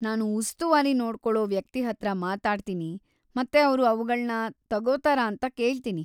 ನಾನು ಉಸ್ತುವಾರಿ ನೋಡ್ಕೊಳೋ ವ್ಯಕ್ತಿ ಹತ್ರ ಮಾತಾಡ್ತೀನಿ ಮತ್ತೆ ಅವ್ರು ಅವ್ಗಳ್ನ ತಗೋತಾರಾ ಅಂತ ಕೇಳ್ತೀನಿ.